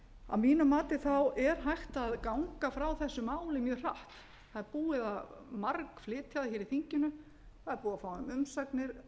að mínu mati er hægt að ganga frá þessu máli mjög hratt það er búið að bara flytja það hér í þinginu það er búið að fá umsagnir